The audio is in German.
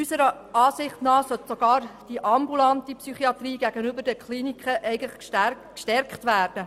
Eigentlich sollte die ambulante Psychiatrie gegenüber den Kliniken gestärkt werden.